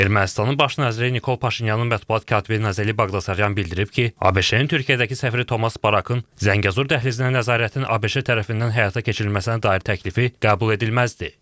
Ermənistanın baş naziri Nikol Paşinyanın mətbuat katibi Nazeli Baqdasaryan bildirib ki, ABŞ-ın Türkiyədəki səfiri Tomas Barakın Zəngəzur dəhlizinə nəzarətin ABŞ tərəfindən həyata keçirilməsinə dair təklifi qəbul edilməzdir.